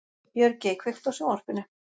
Björgey, kveiktu á sjónvarpinu.